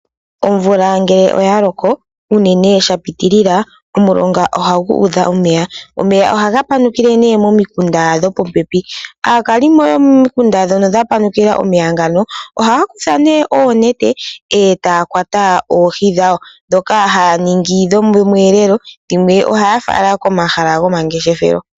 Omvula ngele oya loko uunene shapitilila omulonga oha gudha omeya. Omeya ohaga panukile ne momikunda dhopopepi. Aakalimo yo momikunda ndhono dha panukila omeya ngono ohaya kutha oonete etaya kwata oohi dhawo ndhoka haya ningi dhomwelelo dhimwe ohaya fala komahala go mangeshefelo.